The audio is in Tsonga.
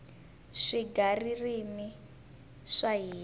swigaririmi swa hina